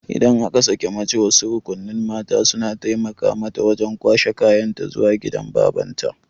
Idan aka sake mace wasu rukunin mata suna taimaka mata wajan kwashe kayan ta zuwa gidan babanta